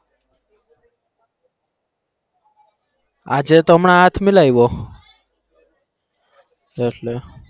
આજે તો હમણાં હાથ મિલાયવો એટલે